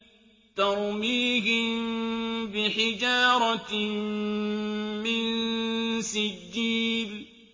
تَرْمِيهِم بِحِجَارَةٍ مِّن سِجِّيلٍ